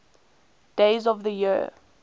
days of the year